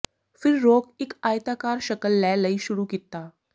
ਫਿਰ ਰੋਕ ਇੱਕ ਆਇਤਾਕਾਰ ਸ਼ਕਲ ਲੈ ਲਈ ਸ਼ੁਰੂ ਕੀਤਾ